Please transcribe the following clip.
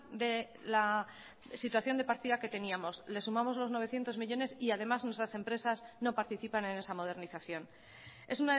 de la situación de partida que teníamos le sumamos los novecientos millónes y además nuestras empresas no participan en esa modernización es